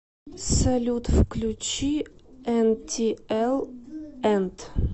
салют включи энтиэл энт